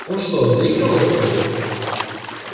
он что заигрывал с тобой